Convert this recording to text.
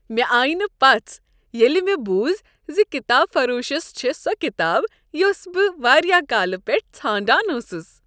مےٚ آیہ نہٕ پژھ ییٚلہ مےٚ بوٗز ز کتاب فروشس چھےٚ سۄ کتاب یۄس بہٕ واریاہ کالہٕ پیٹھٕ ژھانڈان اوسس ۔